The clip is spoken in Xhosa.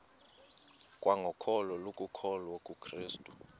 kwangokholo lokukholwa kukrestu